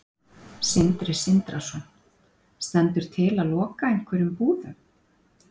Sindri Sindrason: Stendur til að loka einhverjum búðum?